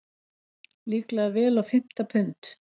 Líklega vel á fimmta pund.